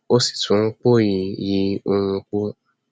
ó sì tún npòòyì yí òòrùn po